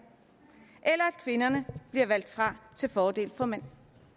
eller at kvinderne bliver valgt fra til fordel for mænd